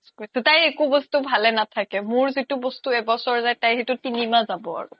তাইৰ একো বস্তু ভালে নাথাকে মোৰ যিতো বস্তু এবছৰ যাই তাইৰ সেইতোত তিনি মাহ যাব আৰু